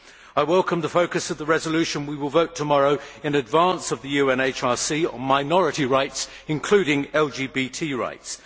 I welcome the focus of the resolution we will vote on tomorrow in advance of the UNHRC on minority rights, including LGBT rights.